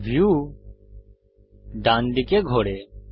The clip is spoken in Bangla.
ভিউ ডান দিকে ঘোরে